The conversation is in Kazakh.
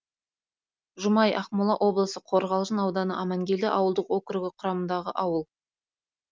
жұмай ақмола облысы қорғалжын ауданы амангелді ауылдық округі құрамындағы ауыл